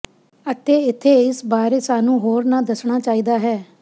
ਅਤੇ ਇੱਥੇ ਇਸ ਬਾਰੇ ਸਾਨੂੰ ਹੋਰ ਨੂੰ ਦੱਸਣਾ ਚਾਹੀਦਾ ਹੈ